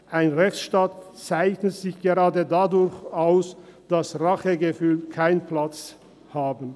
Ein Rechtsstaat zeichnet sich gerade dadurch aus, dass Rachegefühle keinen Platz haben.